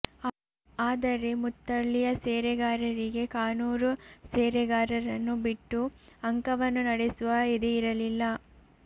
ಆದರೆ ಮುತ್ತಳ್ಳಿಯ ಸೇರೆಗಾರರಿಗೆ ಕಾನೂರು ಸೇರೆಗಾರರನ್ನು ಬಿಟ್ಟು ಅಂಕವನ್ನು ನಡೆಸುವ ಎದೆಯಿರಲಿಲ್ಲ